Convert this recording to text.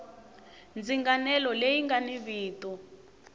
ndzinganelo leyi nga ni vito